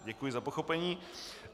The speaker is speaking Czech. Děkuji za pochopení.